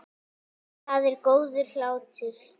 Það er góður hlátur.